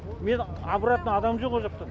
мен обратно адам жоқ о жақтан